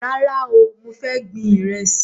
Rárá o, mo fẹ́ gbin Ìrẹ́sì